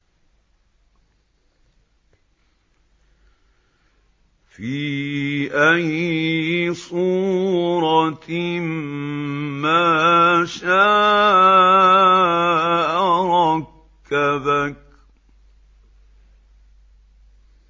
فِي أَيِّ صُورَةٍ مَّا شَاءَ رَكَّبَكَ